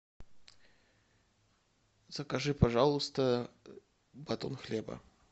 закажи пожалуйста батон хлеба